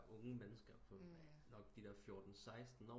Unge mennesker på nok de der fjorten seksten år